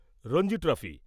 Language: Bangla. রঞ্জি ট্রফি